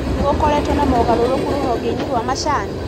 Nĩgũkoretwo na mogarũrũku rũhonge-inĩ rwa macani?